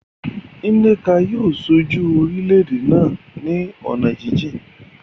Nneka yóò ṣojú orílẹ̀-èdè náà ní ọ̀nà jíjìn.